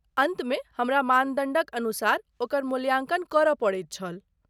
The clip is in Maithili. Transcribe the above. अन्तमे हमरा मानदण्डक अनुसार ओकर मूल्यांकन करय पड़ैत छल।